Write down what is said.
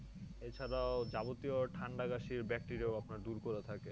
এ ছাড়াও যাবতীয় ঠান্ডা কাশির bacteria ও আপনার দূর করে থাকে